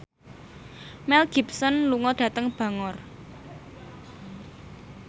Mel Gibson lunga dhateng Bangor